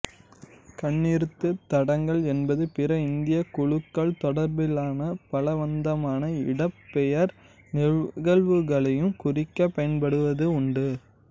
கண்ணீர்த் தடங்கள் என்பது பிற இந்தியக் குழுக்கள் தொடர்பிலான பலவந்தமான இடப்பெயர்வு நிகழ்வுகளையும் குறிக்கப் பயன்படுவது உண்டு